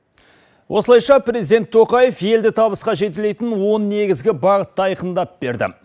осылайша президент тоқаев елді табысқа жетелейтін он негізгі бағытты айқындап берді